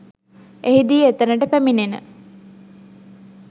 එහිදී එතනට පැමිණෙන